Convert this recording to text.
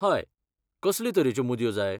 हय, कसले तरेच्यो मुदयो जाय?